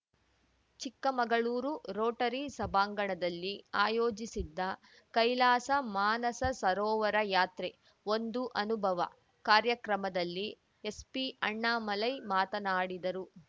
Chikkamagaluru Rotary ಸಭಾಂಗಣದಲ್ಲಿ ಆಯೋಜಿಸಿದ್ದ ಕೈಲಾಸ ಮಾನಸ ಸರೋವರ ಯಾತ್ರೆಒಂದು ಅನುಭವ ಕಾರ‍್ಯಕ್ರಮದಲ್ಲಿ ಎಸ್ಪಿ ಅಣ್ಣಾಮಲೈ ಮಾತನಾಡಿದರು